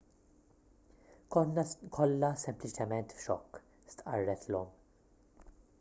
konna kollha sempliċement f'xokk stqarret l-omm